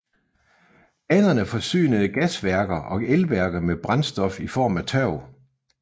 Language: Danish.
Banerne forsynede gasværker og elværker med brændstof i form af tørv